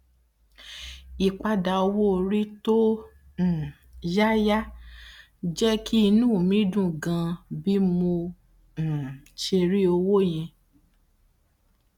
ìpadà owó orí tó um yáyà jẹ kí inú mi dùn ganan bí mo um ṣe rí owó yẹn